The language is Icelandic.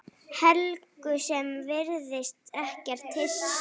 Helgu sem virðist ekkert hissa.